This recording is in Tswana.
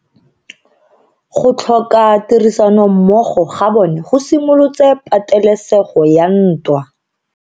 Go tlhoka tirsanommogo ga bone go simolotse patelesego ya ntwa.